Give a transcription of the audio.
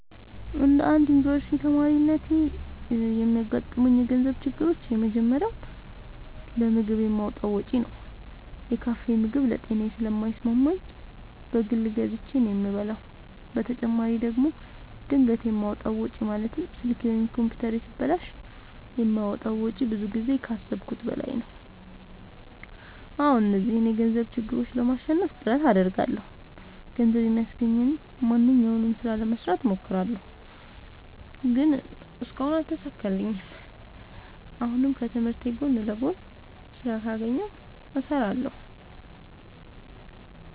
እንደ አንድ ዮኒቨርስቲ ተማሪነቴ የሚያጋጥሙኝ የገንዘብ ችግሮች የመጀመሪያው ለምግብ የማወጣው ወጪ ነው። የካፌ ምግብ ለጤናዬ ስለማይስማማኝ በግል ገዝቼ ነው የምበላው በተጨማሪ ደግሞ ድንገት የማወጣው ወጪ ማለትም ስልኬ ወይም ኮምፒውተሬ ሲበላሽ የማወጣው ወጪ ብዙ ጊዜ ከአሠብኩት በላይ ነው። አዎ እነዚህን የገንዘብ ችግሮች ለማሸነፍ ጥረት አደርጋለሁ። ገንዘብ የሚያስገኘኝን ማንኛውንም ስራ ለመስራት እሞክራለሁ። ግን እስካሁን አልተሳካልኝም። አሁንም ከትምህርቴ ጎን ለጎን ስራ ካገኘሁ እሠራለሁ።